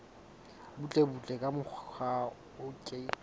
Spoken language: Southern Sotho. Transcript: butlebutle ka mokgwa o ke